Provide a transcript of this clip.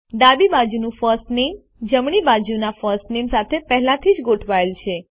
ડાબી બાજુનું ફર્સ્ટ નામે જમણી બાજુના ફર્સ્ટ નામે સાથે પહેલાથી જ ગોઠવાયેલ છે